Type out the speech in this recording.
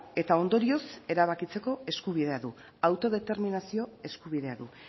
eta ondorioz erabakitzeko eskubidea du autodeterminazio eskubidea du